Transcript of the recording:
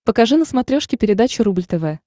покажи на смотрешке передачу рубль тв